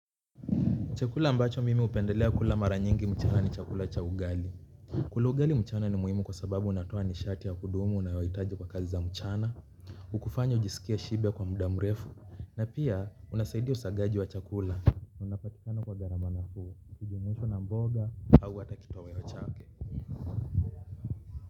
Chakula ambacho mimi hupendelea kula mara nyingi mchana ni chakula cha ugali. Kula ugali mchana ni muhimu kwa sababu unatoa nishati ya kudumu nayohitaji kwa kazi za mchana. Hukufanya ujisikie shibe kwa muda mrefu na pia unasaidia usagaji wa chakula. Unapatikana kwa gharama n afuu ikinjuimshwa na mboga au hata kitoweo chake.